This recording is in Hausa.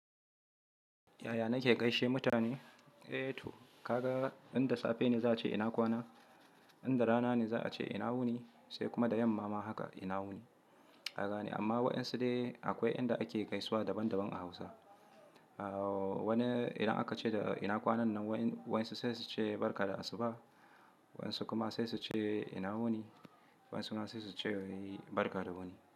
Yaya na ke gaishe mutane? Eh to ka ga, in da safe ne za a ce ina kwana, in da rana ne za a ce ina wuni sai kuma da yamma ma haka ina wuni. Haka ne, amma waɗansu dai akwai inda ake gaisuwa daban daban a Hausa. Wani idan aka ce da ina kwana nan, waɗansu sai su ce barka da asuba, waɗansu kuma sai su ce ina wuni, waɗansu nan sai su ce barka da wuni.